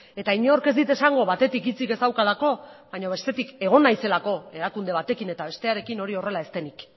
eta inork ez dit esango batetik hitzik ez daukalako baina bestetik egon naizelako erakunde batekin eta bestearekin hori horrela ez denik